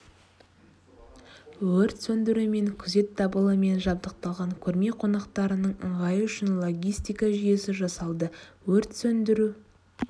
өрт сөндіру мен күзет дабылымен жабдықталған көрме қонақтарының ыңғайы үшін логистика жүйесі жасалды өрт сөндіру